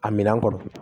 A minɛn kɔnɔ